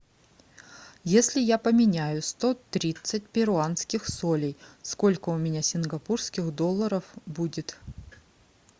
если я поменяю сто тридцать перуанских солей сколько у меня сингапурских долларов будет